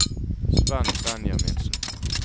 Svenn Benjaminsen